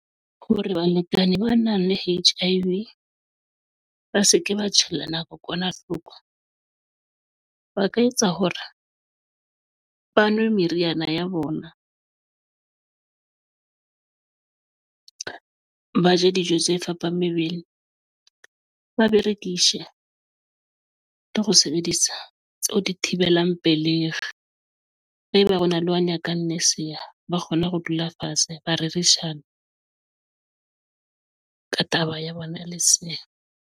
Hore balekane ba nang le H_I_V ba se ke ba tjhella kokwanahloko ba ka etsa hore ba nwe meriana ya bona. Ba je dijo tse fapa mebele Bavaria. Kea sheba le ho sebedisa tseo di thibelang pelehi. Haeba ho na le ona kanne sea ba kgone ho dula fatshe. Marishane ng ka taba ya bona? Lesea .